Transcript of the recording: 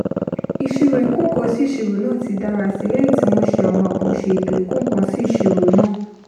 ìṣirò ìkó-nǹkan-sí-iṣirò náà ti dára sí i lẹ́yìn tí wọ́n ṣe àwọn àkànṣe ètò ìkó-nǹkan-sí-iṣirò náà